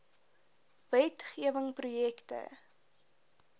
wet gewing projekte